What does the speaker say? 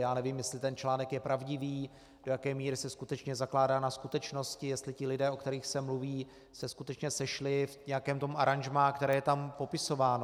Já nevím, jestli ten článek je pravdivý, do jaké míry se skutečně zakládá na skutečnosti, jestli ti lidé, o kterých se mluví, se skutečně sešli v nějakém tom aranžmá, které je tam popisováno.